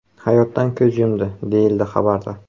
hayotdan ko‘z yumdi, deyiladi xabarda.